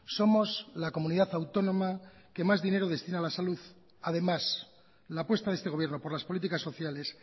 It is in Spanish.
somos la comunidad autónoma que más dinero destina a la salud además la apuesta de este gobierno por las políticas sociales